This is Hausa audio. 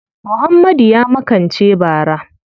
Muhammadu ya makance bara.